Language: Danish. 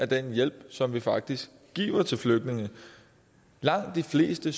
den hjælp som vi faktisk giver til flygtninge langt de fleste